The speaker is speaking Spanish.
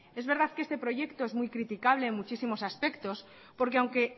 es verdad que este proyecto es muy criticable en muchísimos aspectos porque aunque